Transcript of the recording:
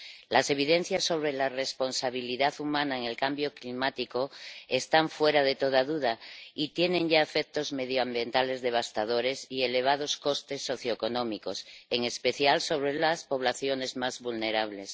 Las evidencias sobre la responsabilidad humana en el cambio climático están fuera de toda duda y tienen ya efectos medioambientales devastadores y elevados costes socioeconómicos, en especial sobre las poblaciones más vulnerables.